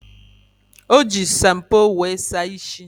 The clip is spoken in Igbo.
O ji shampoo were saa ishi.